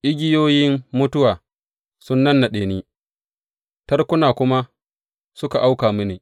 Igiyoyin mutuwa sun nannaɗe ni; tarkuna kuma suka auka mini.